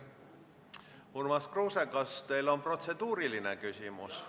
Urmas Kruuse, kas teil on protseduuriline küsimus?